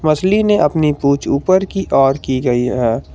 मछली ने अपनी पूंछ ऊपर की ओर की गई है।